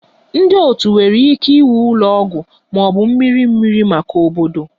Ndị otu nwere ike iwu ụlọ ọgwụ ma ọ bụ mmiri mmiri maka obodo